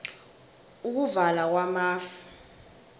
ukuvala kwamafu